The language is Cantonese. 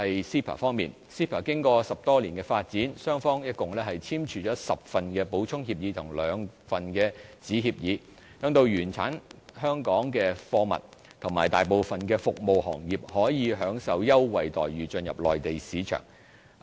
CEPA 經過10多年發展，雙方一共簽署了10份補充協議和兩份子協議，讓原產香港的貨物和大部分服務行業可以享受優惠待遇進入內地市場。